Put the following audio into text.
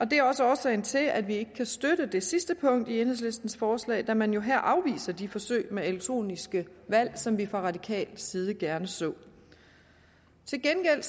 det er også årsagen til at vi ikke kan støtte det sidste punkt i enhedslistens forslag da man jo her afviser de forsøg med elektroniske valg som vi fra radikal side gerne så til gengæld